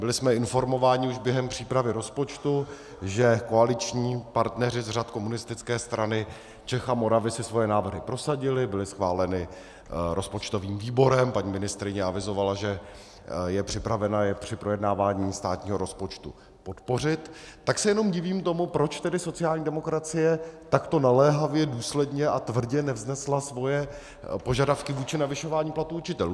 Byli jsme informováni už během přípravy rozpočtu, že koaliční partneři z řad Komunistické strany Čech a Moravy si svoje návrhy prosadili, byly schváleny rozpočtovým výborem, paní ministryně avizovala, že je připravena je při projednávání státního rozpočtu podpořit, tak se jenom divím tomu, proč tedy sociální demokracie takto naléhavě, důsledně a tvrdě nevznesla svoje požadavky vůči navyšování platů učitelů.